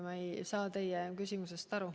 Ma ei saa teie küsimusest aru.